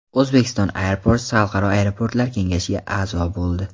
Uzbekistan Airports Xalqaro aeroportlar kengashiga a’zo bo‘ldi.